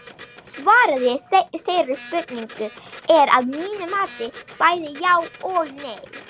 Svarið við þeirri spurningu er að mínu mati bæði já og nei.